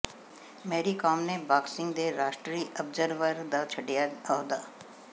ਮੈਰੀਕਾਮ ਨੇ ਬਾਕਸਿੰਗ ਦੇ ਰਾਸ਼ਟਰੀ ਅਬਜ਼ਰਵਰ ਦਾ ਛੱਡਿਆ ਅਹੁਦਾ